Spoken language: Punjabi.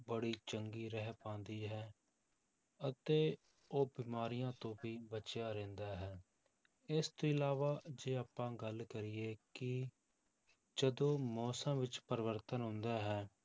ਬੜੀ ਚੰਗੀ ਰਹਿ ਪਾਉਂਦੀ ਹੈ ਅਤੇ ਉਹ ਬਿਮਾਰੀਆਂ ਤੋਂ ਵੀ ਬਚਿਆ ਰਹਿੰਦਾ ਹੈ, ਇਸ ਤੋਂ ਇਲਾਵਾ ਜੇ ਆਪਾਂ ਗੱਲ ਕਰੀਏ ਕਿ ਜਦੋਂ ਮੌਸਮ ਵਿੱਚ ਪਰਿਵਰਤਨ ਆਉਂਦਾ ਹੈ,